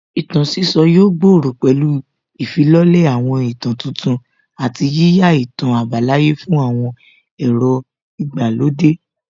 Ìtàn sísọ yóò gbòòrò pẹ̀lú ìfilọ́lẹ̀ àwọn ìtàn tuntun àti yíyá ìtàn àbálàyé fún àwọn èrò ìgbàlódé